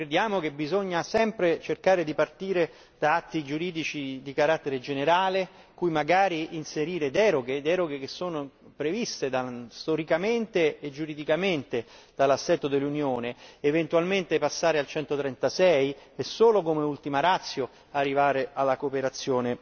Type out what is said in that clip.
Noi crediamo che occorra sempre cercare di partire da atti giuridici di carattere generale in cui magari inserire deroghe che sono previste storicamente e giuridicamente dall'assetto dell'Unione, eventualmente passare all'articolo 136 e solo come ultima ratio arrivare alla cooperazione